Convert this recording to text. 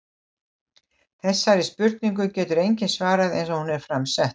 Þessari spurningu getur enginn svarað eins og hún er fram sett.